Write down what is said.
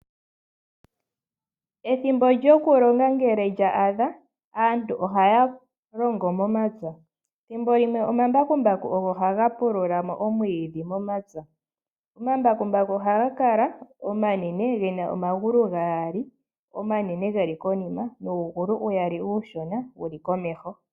Ethimbo lyoku longa ngele lya adha aantu ohaya longo momapya. Thimbo limwe omambakumbaku ogo haga pulula mo omwiidhi momapya. Omambakumbaku ohaga kala omanene gena omagulu gaali omanene geli konima. Nuugulu uyaali uushona wuli komeho.